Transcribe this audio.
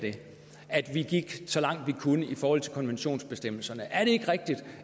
at vi gik så langt vi kunne i forhold til konventionsbestemmelserne er det ikke rigtigt